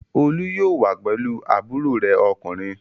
Olú yóò wá pẹ̀lú àbúrò rẹ̀ ọkùnrin.